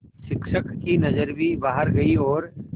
शिक्षक की नज़र भी बाहर गई और